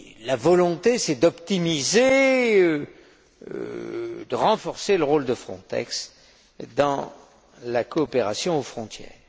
La volonté, c'est d'optimiser, de renforcer le rôle de Frontex dans la coopération aux frontières.